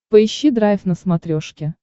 поищи драйв на смотрешке